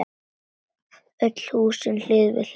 Öll húsin hlið við hlið.